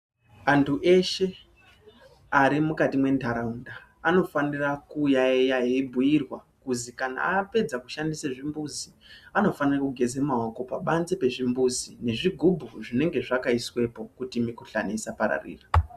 Antu eshe arimukati mwentaraunda anofanira kuyayeya eibhuirwa kuzi kana apedza kushandise zvimbuzi anofane kugeze maoko pabanze pezvimbuzi nezvigubhu zvinenge zvakaiswepo kuti mukihlani isa pararira.